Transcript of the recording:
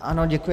Ano, děkuji.